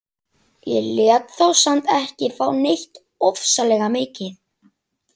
Ég lét þá samt ekki fá neitt ofsalega mikið.